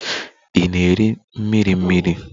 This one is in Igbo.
Ị na-eri mmiri mmiri?